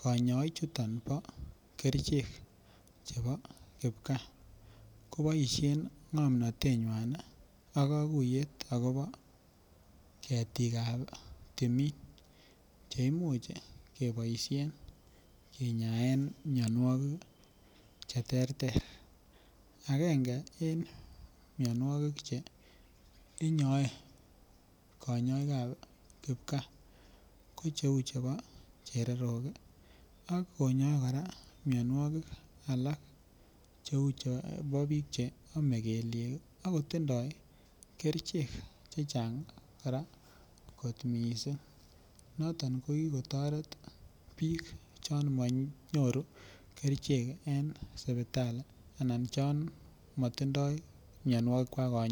kanyai chuton ba kerchek chebo kibkaa kobaishen ngomnatet nywan ba kakutet akoba ketik ab tumin cheimuch kebaishen ennaet ab mianwagik cheterter akenge en mianwagik inyoe kanyaik ab kipkaa Kou chebo chererok ak konyae mianwagik alak Kou bik cheyame kelyek akotinye kerchen chechang koraa kot missing Noto kokikotaret Bik chamanyoru kerchek en sibitali ak chamatindoi mianwagik kwak